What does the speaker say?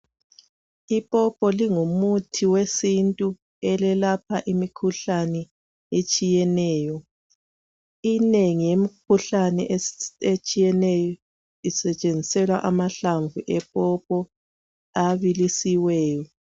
Ipopo lingumuthi wesintu elelapha imikhuhlane etshiyeneyo. Inengi lemikhuhlane etshiyeneyo, isebenziselwa amahlamvu epopo, abilisiweyo.